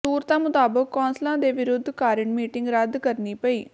ਸੂਤਰਾਂ ਮੁਤਾਬਕ ਕੌਂਸਲਰਾਂ ਦੇ ਵਿਰੋਧ ਕਾਰਨ ਮੀਟਿੰਗ ਰੱਦ ਕਰਨੀ ਪਈ